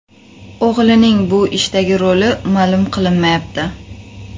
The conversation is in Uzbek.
O‘g‘lining bu ishdagi roli ma’lum qilinmayapti.